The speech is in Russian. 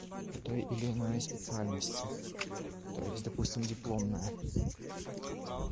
той или иной специальности которые есть допустим дипломная